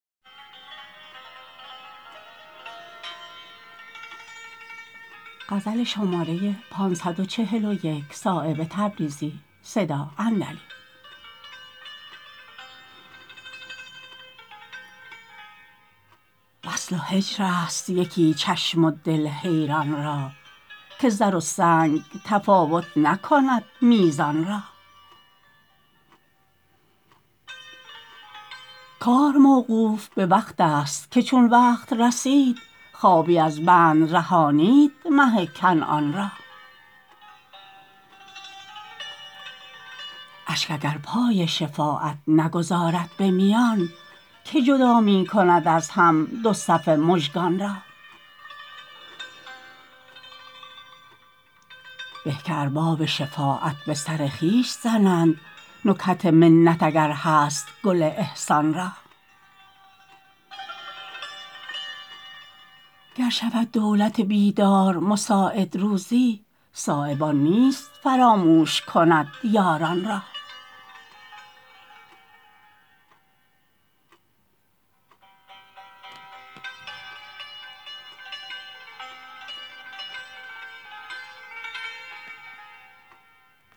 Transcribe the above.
وصل و هجرست یکی چشم و دل حیران را که زر و سنگ تفاوت نکند میزان را کار موقوف به وقت است که چون وقت رسید خوابی از بند رهانید مه کنعان را اشک اگر پای شفاعت نگذارد به میان که جدا می کند از هم دو صف مژگان را به که ارباب شفاعت به سر خویش زنند نکهت منت اگر هست گل احسان را گر شود دولت بیدار مساعد روزی صایب آن نیست فراموش کند یاران را